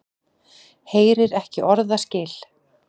Heyrir ekki orðaskil.